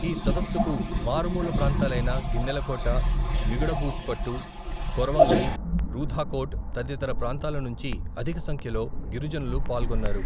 ఈ సదస్సుకు మారుమూల ప్రాంతాలైన, గిన్నెలకోట, మిగుడబూసిపట్టు, కొరవంగి, రూధాకోట్ తదితర ప్రాంతాల నుంచి, అధికసంఖ్యలో, గిరిజనులు పాల్గొన్నారు.